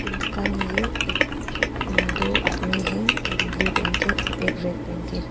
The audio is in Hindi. एक दुकान है ये एक उ दो आदमी है एक ब्लू पहेन के और एक रेड पहेन के।